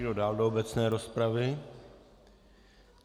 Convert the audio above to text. Kdo dál do obecné rozpravy?